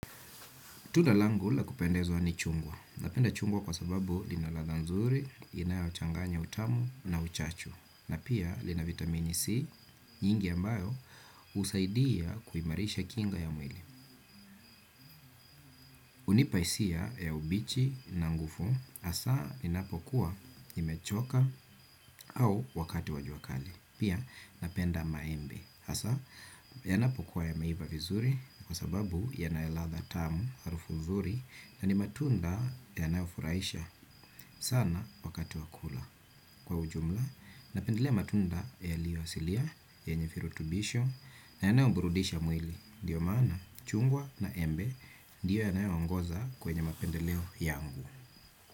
Tunda langula kupendezwa ni chungwa. Napenda chungwa kwa sababu linaladha nzuri, inayo changanya utamu na uchachu, na pia lina vitamini C, nyingi ambayo usaidia kuimarisha kinga ya mwili. Hunipa isia ya ubichi na ngufu, asa inapokuwa imechoka au wakati wajua kali. Pia napenda maembe. Hasa, yanapokuwa ya meiva vizuri kwa sababu yanayeladha tamu arufu mzuri na ni matunda yanayofuraisha sana wakati wakula. Kwa ujumla, napendelea matunda ya liyo silia, ye nyefirutubisho, na yanayoburudisha mwili. Ndiyo maana, chungwa na embe, ndiyo yanayoongoza kwenye mapendeleo yangu.